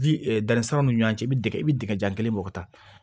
Ji danni siraw ni ɲɔgɔn cɛ i bi dingɛ i bi dingɛ jan kelen bɔ ka taa